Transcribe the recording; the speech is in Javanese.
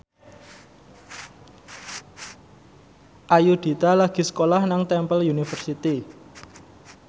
Ayudhita lagi sekolah nang Temple University